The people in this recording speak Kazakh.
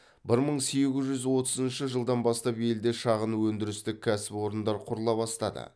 бір мың сегіз жүз отызыншы жылдан бастап елде шағын өндірістік кәсіп орындар құрыла бастады